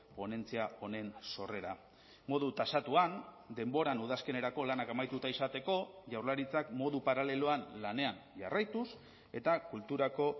ponentzia honen sorrera modu tasatuan denboran udazkenerako lanak amaituta izateko jaurlaritzak modu paraleloan lanean jarraituz eta kulturako